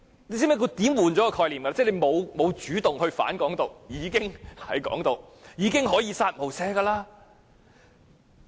大家可有發現，這是轉換概念的說法，意即沒有主動"反港獨"便已屬鼓吹"港獨"，可以"殺無赦"。